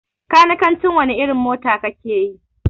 Kanikanci wani irin mota kakeyi?